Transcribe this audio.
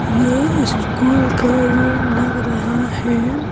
ये इस्कूल का रूम लग रहा है।